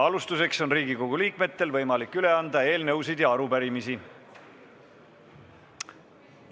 Alustuseks on Riigikogu liikmetel võimalik üle anda eelnõusid ja arupärimisi.